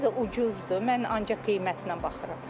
Harda ucuzdur, mən ancaq qiymətlə baxıram.